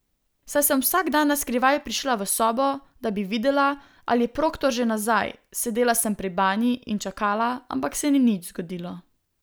Saj sem vsak dan naskrivaj prišla v sobo, da bi videla, ali je Proktor že nazaj, sedela sem pri banji in čakala, ampak se ni nič zgodilo.